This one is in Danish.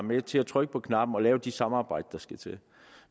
med til at trykke på knappen og lave de samarbejder der skal til